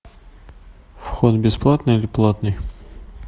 вход бесплатный или платный